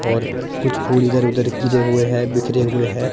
और कुछ फूल इधर उधर गिरे हुए हैं बिखरे हुए हैं।